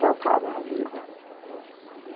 Tocava a vida.